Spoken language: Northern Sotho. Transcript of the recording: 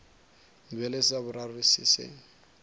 bjale sa boraro se se